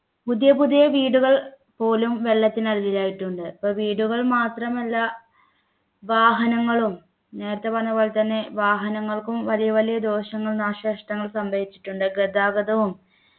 പുതിയ പുതിയ വീടുകൾ പോലും വെള്ളത്തിനടിയിൽ ആയിട്ടുണ്ട് അപ്പോ വീടുകൾ മാത്രമല്ല വാഹനങ്ങളും നേരത്തെ പറഞ്ഞ പോലെ തന്നെ വാഹനങ്ങൾക്കും വലിയ വലിയ ദോഷങ്ങളും നാശനഷ്ടങ്ങളും സംഭവിച്ചിട്ടുണ്ട് ഗതാഗതവും